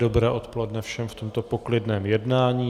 Dobré odpoledne všem v tomto poklidném jednání.